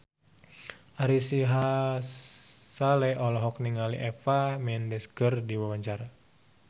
Ari Sihasale olohok ningali Eva Mendes keur diwawancara